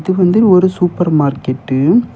இது வந்து ஒரு சூப்பர் மார்க்கெட்டு .